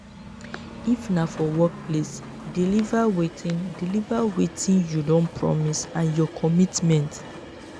if na for workplace deliver wetin deliver wetin you don promise and your commitment